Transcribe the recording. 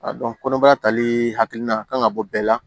A dɔn kɔnɔbara talii hakilina kan ka bɔ bɛɛ la